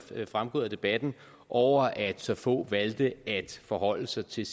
er fremgået af debatten over at så få valgte at forholde sig til